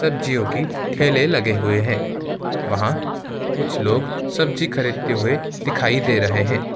सब्ज़ियों की ठेले लगे हुए है वहाँ कुछ लोग सब्जी खरीदते हुए दिखाई दे रहे है ।